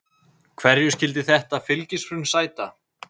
Hverju skyldi þetta fylgishrun sæta?